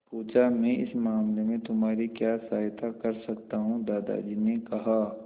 पूछा मैं इस मामले में तुम्हारी क्या सहायता कर सकता हूँ दादाजी ने कहा